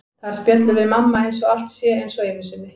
Þar spjöllum við mamma eins og allt sé eins og einu sinni.